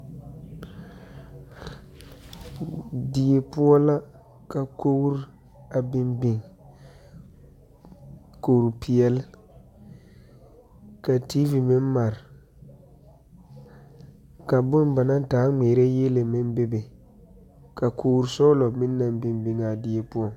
Die poɔ la ka kogiri a biŋ biŋ kuri pɛɛl ka TV meŋ mare ka bon ba naŋ taa ŋmɛre yɛlle meŋ be be, ka kori sɔglɔ meŋ naŋ biŋ biŋ a die poɔ.